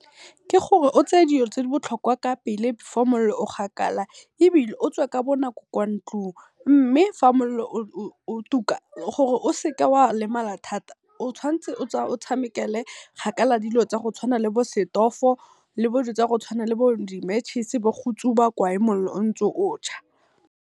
Ke gore o tseye dilo tse di botlhokwa Ka pele before mollo o gakala, ebile otswe Ka bonako kwa ntlung. Mme fa mollo o tuka gore o seke wa lemala thata, o tshwantse o tshamekele kgakala le dilo tsa go tshwana le bo setofo, le bo dipitsa go tshwana le bo di matches bo go tsuba koae mollo ontse o .